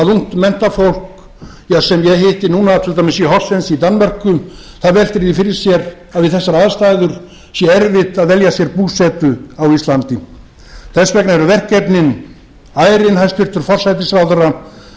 menntafólk sem ég hitti núna til dæmis í horsens í danmörku það veltir því fyrir sér að við þessar aðstæður sé erfitt að velja sér búsetu á íslandi þess vegna eru verkefnin ærin hæstvirtur forsætisráðherra ég bið